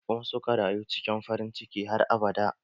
Kuma suka rayu cikin farin ciki har abada